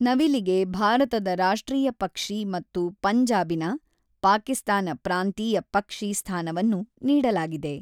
ನವಿಲಿಗೆ ಭಾರತದ ರಾಷ್ಟ್ರೀಯ ಪಕ್ಷಿ ಮತ್ತು ಪಂಜಾಬಿನ (ಪಾಕಿಸ್ತಾನ) ಪ್ರಾಂತೀಯ ಪಕ್ಷಿ ಸ್ಥಾನವನ್ನು ನೀಡಲಾಗಿದೆ.